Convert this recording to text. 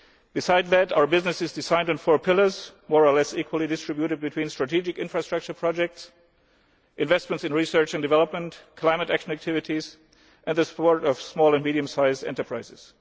Besides that, our business is designed on four pillars, more or less equally distributed between strategic infrastructure projects, investments in research and development, climate action activities and the support of small and medium sized enterprises.